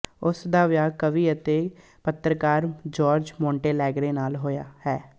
ਉਸ ਦਾ ਵਿਆਹ ਕਵੀ ਅਤੇ ਪੱਤਰਕਾਰ ਜੋਰਜ ਮੋਨਟੇਲੈਗਰੇ ਨਾਲ ਹੋਇਆ ਹੈ